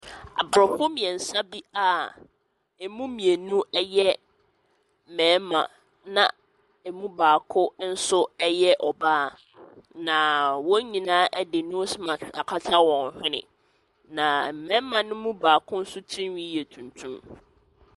Aborɔfo mmiɛnsa bi a ɛmu mmienu yɛ mmarima na ɛmu baako nso yɛ ɔbaa, na wɔn nyinaa de nose mask akata wɔn hwene. Na mmarima ne mu baako nso tirihwi yɛ tuntum.